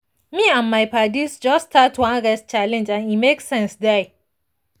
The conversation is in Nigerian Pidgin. me and my paddies just start one rest challenge and e make sense die.